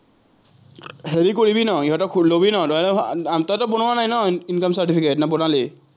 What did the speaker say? হেৰি কৰিবি ন ইহঁতক লবি ন income certificate নে বনালি?